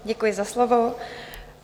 Děkuji za slovo.